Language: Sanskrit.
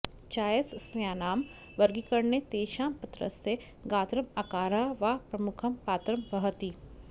चायसस्यानां वर्गीकरणे तेषां पत्रस्य गात्रम् आकारः वा प्रमुखं पात्रं वहति